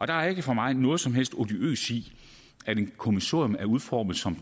der er ikke for mig noget som helst odiøst i at et kommissorium er udformet som